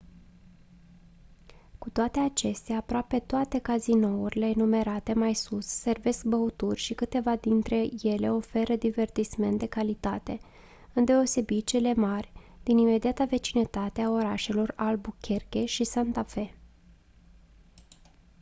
cu toate acestea aproape toate cazinourile enumerate mai sus servesc băuturi și câteva dintre ele oferă divertisment de calitate îndeosebi cele mari din imediata vecinătate a orașelor albuquerque și santa fe